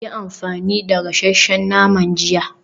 Yi amfani da gasasshen naman jiya.